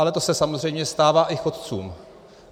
Ale to se samozřejmě stává i chodcům.